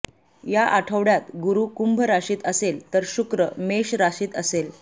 या आठवड्यात गुरु कुंभ राशीत असेल तर शुक्र मेष राशीत असेल